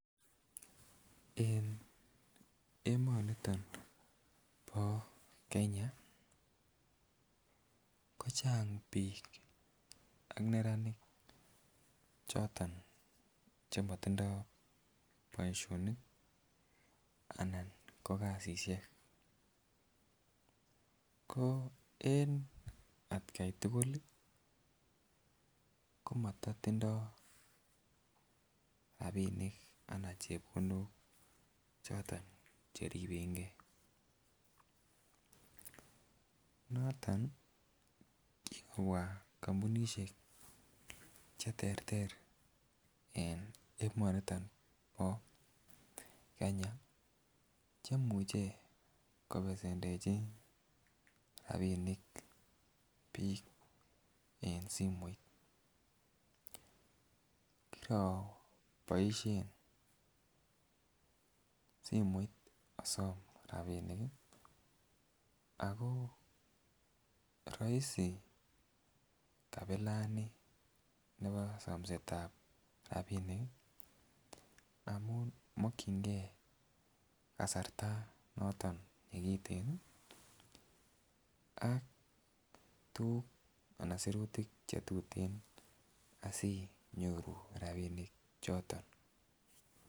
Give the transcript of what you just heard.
En emoniton bo Kenya kocheng bik ak neranik choton chemotindo boishonik anan ko kasishek ko en atgai tukul lii komototindo rabinik anan chepkondok choton cheribegee. Noto kikobwa kompunishek cheterter en emoniton bo Kenya chemuche kopesendechi rabinik bik en simoit, kiroboishen simoit osom rabinik kii ako roisi kabilani nibo somsetab rabinik amun mokingee kasarta noton nekitikin ak tukuk anan sirutik chetuten asinyoru rabinik choton.